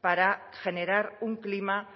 para generar un clima